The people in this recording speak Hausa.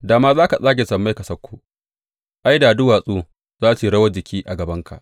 Da ma za ka tsage sammai ka sauko, ai, da duwatsu za su yi rawar jiki a gabanka!